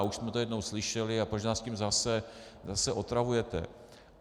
A už jsme to jednou slyšeli: a proč nás tím zase otravujete?